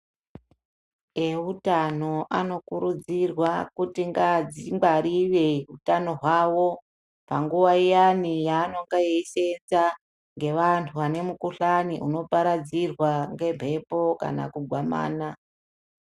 Eutano anokurudzirwa kuti adzingwarire utano hwavo panguva iyani yanenge eisenza ngevantu vane mukuhlani unoparadzirwa ngembepo kana kugwamana.